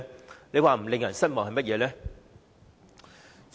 這不正是令人失望嗎？